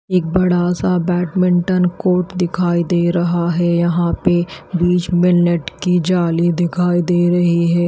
एक बड़ा सा बैडमिंटन कोर्ट दिखाई दे रहा है यहां पे बीच में नेट की जाली दिखाई दे रही है।